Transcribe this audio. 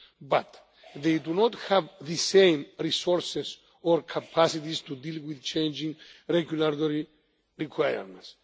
But, they do not have the same resources or capacities to deal with changing regulatory requirements.